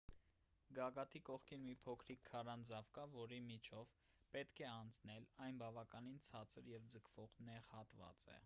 գագաթի կողքին մի փոքրիկ քարանձավ կա որի միջով պետք է անցնել այն բավականին ցածր և ձգվող նեղ հատված է